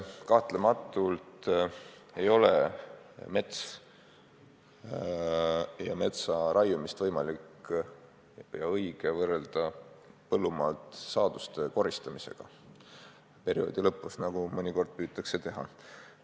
Kahtlemata ei ole metsa ja metsaraiumist õige võrrelda põllumaalt saaduste koristamisega suve lõpus, nagu mõnikord püütakse teha.